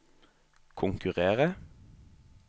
konkurrere